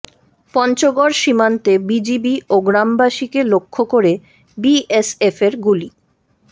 পঞ্চগড় সীমান্তে বিজিবি ও গ্রামবাসীকে লক্ষ্য করে বিএসএফের গুলি